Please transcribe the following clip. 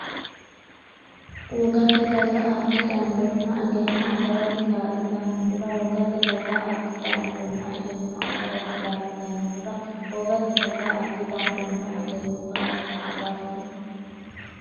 Wogate daga addi dandoonna egenno agarate kaa’litannohura Wogate daga addi dandoonna egenno agarate kaa’litannohura Wogate daga addi dandoonna egenno agarate.